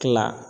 Kila